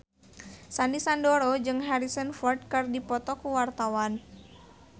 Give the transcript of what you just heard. Sandy Sandoro jeung Harrison Ford keur dipoto ku wartawan